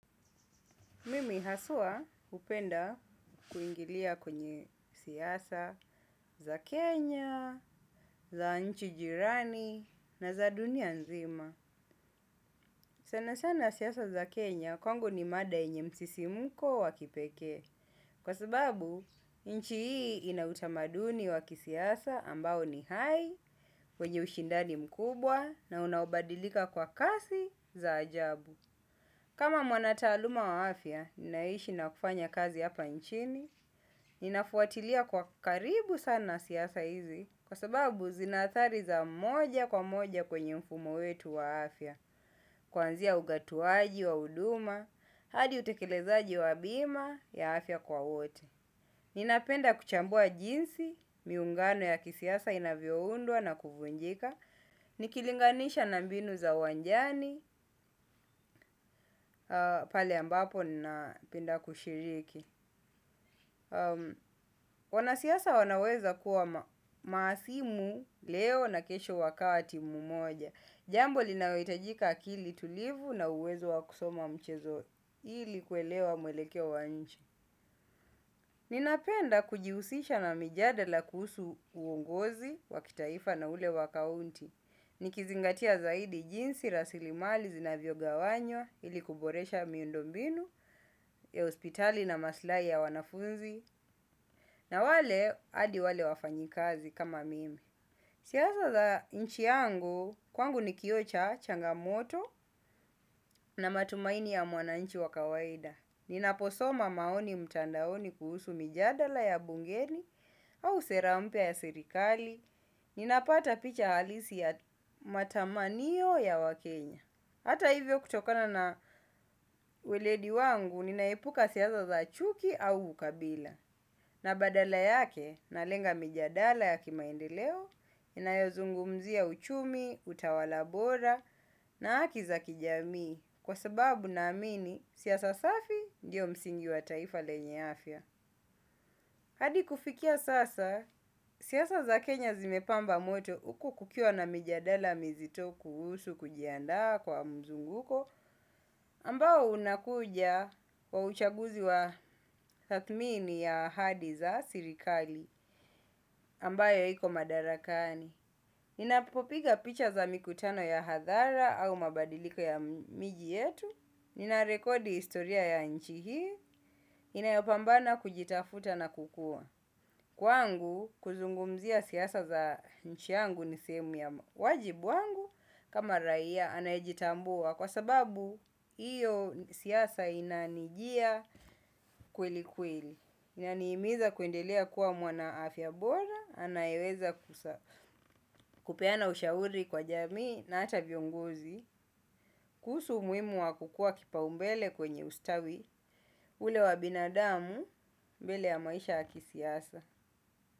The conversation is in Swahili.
Mimi haswa hupenda kuingilia kwenye siasa za Kenya, za nchi jirani na za dunia nzima. Sana sana siasa za Kenya kwangu ni mada yenye msisimko wa kipekee. Kwa sababu, nchi hii ina utamaduni wa kisiasa ambao ni hai, wenye ushindani mkubwa na unaobadilika kwa kasi za ajabu. Kama mwanataaluma wa afya, ninaishi na kufanya kazi hapa nchini, ninafuatilia kwa karibu sana siasa hizi, kwa sababu zinaathari za moja kwa moja kwenye mfumo wetu wa afya, kuanzia ugatuaji wa huduma, hadi utekelezaji wa bima ya afya kwa wote. Ninapenda kuchambua jinsi, miungano ya kisiasa inavyoundwa na kuvunjika, nikilinganisha na mbinu za uwanjani, pale ambapo ninapenda kushiriki. Wanasiasa wanaweza kuwa mahasimu leo na kesho wakati mmoja. Jambo linaohitajika akili tulivu na uwezo wa kusoma mchezo, ili kuelewa mwelekeo wa nchi. Ninapenda kujihusisha na mijadela kuhusu uongozi, wa kitaifa na ule wa kaunti, nikizingatia zaidi jinsi, rasilimali, zinavyogawanywa, ili kuboresha miundo mbinu, hospitali na maslahi ya wanafunzi, na wale hadi wale wafanyikazi kama mimi. Sisa za za nchi yangu, kwangu ni kioo cha changamoto na matumaini ya mwananchi wa kawaida. Ninaposoma maoni mtandaoni kuhusu mijadala ya bungeni au sera mpya ya serikali. Ninapata picha halisi ya matamaniyo ya wakenya. Hata hivyo kutokana na uweledi wangu, ninaepuka siasa za za chuki au ukabila. Na badala yake, nalenga mijadala ya kimaendeleo, inayozungumzia uchumi, utawala bora, na haki za kijamii, kwa sababu naamini, siasa safi ndiyo msingi wa taifa lenye afya. Hadi kufikia sasa, siasa za Kenya zimepamba moto huku kukiwa na mijadala mizito kuhusu kujiandaa kwa mzunguko ambao unakuja wa uchaguzi wa tathmini ya ahadi za serikali ambayo iko madarakani. Ninapopiga picha za mikutano ya hadhara au mabadiliko ya miji yetu, ninarekodi historia ya nchi hii, inayopambana kujitafuta na kukua. Kwangu kuzungumzia siasa za nchi yangu ni sehemu ya wajibu wangu kama raia anayejitambua kwa sababu iyo siasa inanijia kweli kweli. Inanihimiza kuendelea kuwa mwana afya bora, anayeweza kupeana ushauri kwa jamii na hata viongozi. Kuhusu umuhimu wa kukua kipaumbele kwenye ustawi, ule wa binadamu mbele ya maisha ya kisiasa.